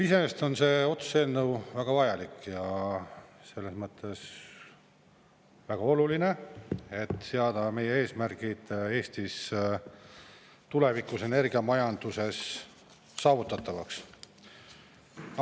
Iseenesest on see otsuse eelnõu väga vajalik ja selles mõttes väga oluline, et seada meie eesmärgid Eestis tulevikus energiamajanduses saavutatavaks.